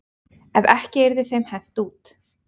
Ef ekki yrði þeim hent út.